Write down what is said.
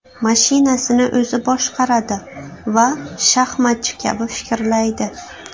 Mashinasini o‘zi boshqaradi va shaxmatchi kabi fikrlaydi.